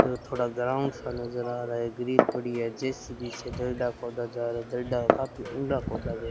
यो थोड़ा ग्राउंड सा नजर आ रहा है ग्रिल पड़ी है जे_सी_बी से दर्ढ्ढा खोदा जा रहा है दर्ढ्ढा का फिर उढां खोदा गया --